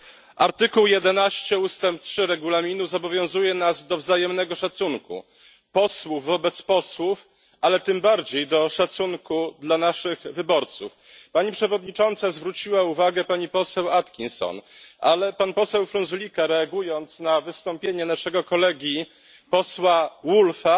Pani Przewodnicząca! Artykuł 11 ustęp 3 Regulaminu zobowiązuje nas do wzajemnego szacunku posłów wobec posłów, ale tym bardziej do szacunku dla naszych wyborców. Pani Przewodnicząca zwróciła uwagę pani poseł Atkinson, ale pan poseł Frunzulică, reagując na wystąpienie naszego kolegi posła Woolfe'a,